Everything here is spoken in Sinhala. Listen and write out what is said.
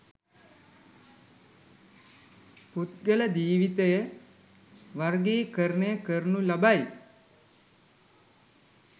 පුද්ගල ජීවිතය වර්ගීකරණය කරනු ලබයි.